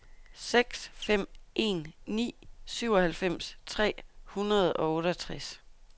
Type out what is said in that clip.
seks fem en ni syvoghalvfems tre hundrede og otteogtres